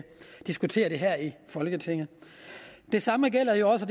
diskutere det her i folketinget det samme gælder jo også